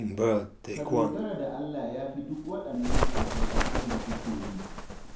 Ka dogara da Allah ya fi duk waɗannan tsafe-tsafen da kuke yi